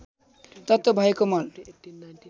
तत्त्व भएको मल